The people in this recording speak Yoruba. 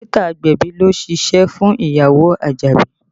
Dókítà agbẹ̀bí ló ṣíṣe fún ìyàwó Àjàdí